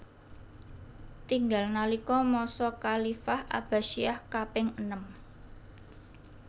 Tinggal nalika masa khalifah Abbasiyah kaping enem